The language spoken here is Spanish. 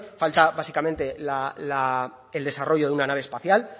falta básicamente el desarrollo de una nave espacial